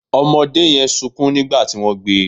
Ọmọdé yẹn sunkún nígbà tí wọ́n gbé e